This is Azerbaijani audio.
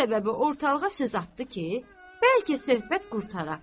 Bu səbəbə ortalığa söz atdı ki, bəlkə söhbət qurtara.